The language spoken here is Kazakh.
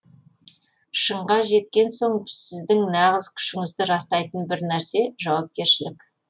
шыңға жеткен соң сіздің нағыз күшіңізді растайтын бір нәрсе жауапкершілік